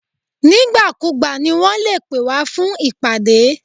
Nígbàkúùgbà ni wọn lè pè wá fún ìpàdé.